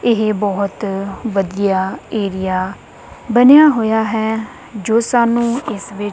ਇਹ ਬਹੁਤ ਵਧੀਆ ਏਰੀਆ ਬਣਿਆ ਹੋਇਆ ਹੈ ਜੋ ਸਾਨੂੰ ਇੱਸ ਵਿੱਚ--